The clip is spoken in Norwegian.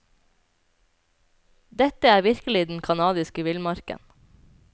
Dette er virkelig den kanadiske villmarken.